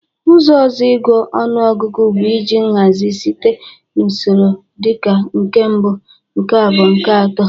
Ụzọ ọzọ ịgụ ọnụọgụgụ bụ iji nhazị site n'usoro dị ka nke mbụ, nke abụọ, nke atọ